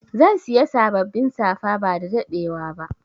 Zan Siya sabbabin safa ba dadadewa ba.